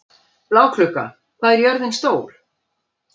Bláklukka, hvað er jörðin stór?